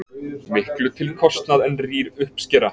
Miklu til kostað en rýr uppskera.